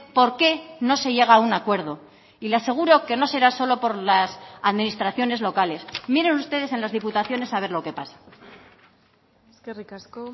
por qué no se llega a un acuerdo y le aseguro que no será solo por las administraciones locales miren ustedes en las diputaciones a ver lo que pasa eskerrik asko